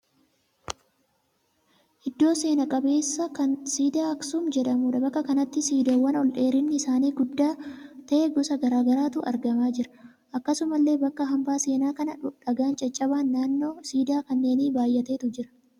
Iddoo seena qabeessa kan siidaa Aksum jedhamuudha. Bakka kanatti siidaawwan ol dheerinni isaanii guddaa ta'e gosa garaa garaatu argamaa jira. Akkasumallee bakka hambaa seenaa kana dhagaan caccabaan naannoo siidaa kanneenii baay'eetu jira.